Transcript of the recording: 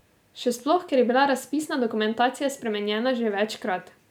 Še sploh, ker je bila razpisna dokumentacija spremenjena že večkrat.